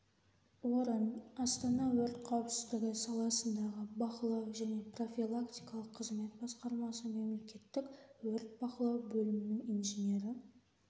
орын астана өрт қауіпсіздігі саласындағы бақылау және профилактикалық қызмет басқармасы мемлекеттік өрт бақылау бөлімінің инженері